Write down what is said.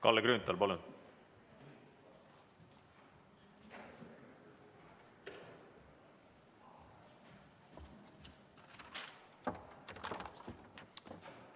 Kalle Grünthal, palun!